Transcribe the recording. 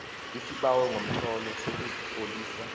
isibawo ngomtlolo sokuzitlolisa